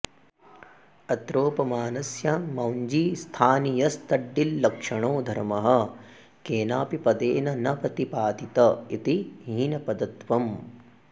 अत्रोपमानस्य मौञ्जीस्थानीयस्तडिल्लक्षणो धर्मः केनापि पदेन न प्रतिपादित इति हीनपदत्वम्